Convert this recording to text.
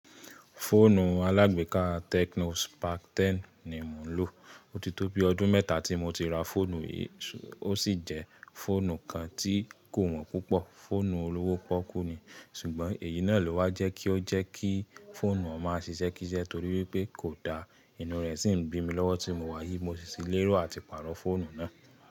Fóònù alágbéka Tecno Spark 10 ni mò ń lò. Ó ti tó bi ọdún mẹ́ta tí mo ti ra fóònù yìí, ó sì jẹ́ fóònù kan tí kò wọ́n púpọ̀, fóònù olówó pọ́kú ni, ṣùgbọ́n èyí náà ló wá jẹ́ kí ó jẹ́ kí fóònù ọ̀ máa ṣiṣẹ́ kísẹ́ torí wipé kò da, inú rẹ̀ sì ń bí mi lọ́wọ́ tí mo wá yí, mo sì tí i lérò àti pàrọ̀ fóònù náà.